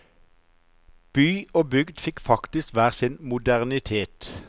By og bygd fikk faktisk hver sin modernitet.